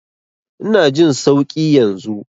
Ina jin sauƙi yanzu.